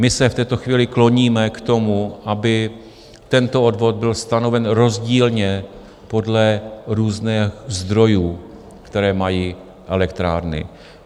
My se v této chvíli kloníme k tomu, aby tento odvod byl stanoven rozdílně podle různých zdrojů, které mají elektrárny.